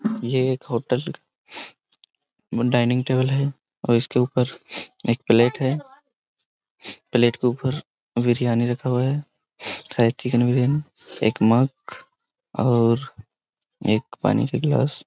ये एक hotel dining table है और इसके ऊपर एक प्लेट है प्लेट के ऊपर बिरयानी रखा हुआ है शायद चिकन बिरयानी एक मग और एक पानी का गिलास।